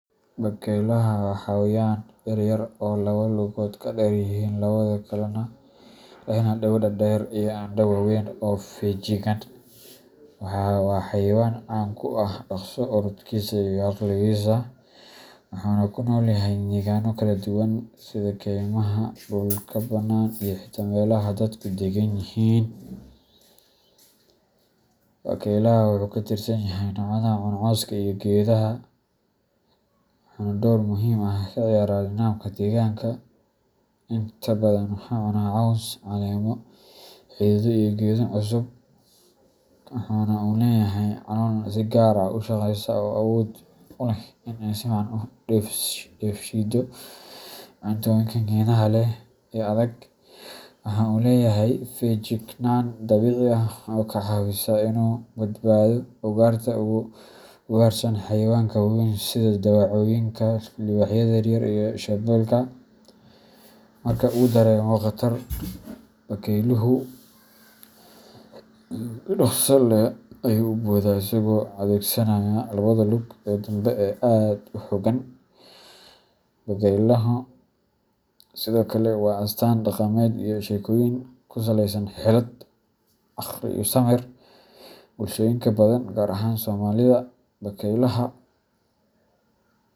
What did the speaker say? Bakaylaha waa xayawaan yaryar oo laba lugood ka dheer yihiin labada kale, lehna dhego dhaadheer iyo indho waaweyn oo feejigan. Waa xayawaan caan ku ah dhaqso orodkiisa iyo caqligiisa, wuxuuna ku nool yahay deegaano kala duwan sida kaymaha, dhulka bannaan, iyo xitaa meelaha dadku deggan yihiin. Bakaylaha wuxuu ka tirsan yahay noocyada cuna cawska iyo geedaha, wuxuuna door muhiim ah ka ciyaaraa nidaamka deegaanka. Inta badan wuxuu cunaa caws, caleemo, xididdo iyo geedo cusub. Waxa uu leeyahay calool si gaar ah u shaqeysa oo awood u leh inay si fiican u dheefshiido cuntooyinka geedaha leh ee adag. Waxa uu leeyahay feejignaan dabiici ah oo ka caawisa inuu ka badbaado ugaarta ay ugaarsadaan xayawaanka waaweyn sida dawacooyinka, libaaxyada yaryar, iyo shabeelka. Marka uu dareemo khatar, bakayluhu si dhaqso leh ayuu u boodaa isagoo adeegsanaya labada lug ee danbe oo aad u xoogan. Bakaylaha sidoo kale waa astaan dhaqameed iyo sheekooyin ku saleysan xeelad, caqli iyo samir. Bulshooyinka badan, gaar ahaan Soomaalida, bakaylaha.